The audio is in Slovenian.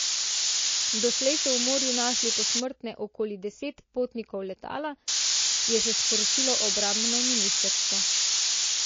Doslej so v morju našli posmrtne okoli desetih potnikov letala, je še sporočilo obrambno ministrstvo.